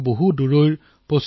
এওঁ আছিল মালীৰ সেদু দেমবেলে